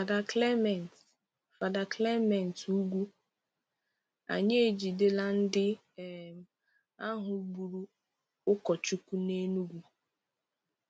Father Clement Father Clement Ugwu: Ànyị ejìdelà ndị um ahụ gbùrù ụkọchukwu n’Enugwu